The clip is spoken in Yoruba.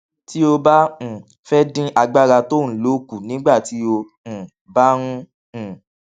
tí o bá um fé dín agbára tó o ń lò kù nígbà tó o um bá ń um